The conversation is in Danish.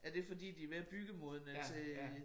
Er det fordi de er mere byggemodne til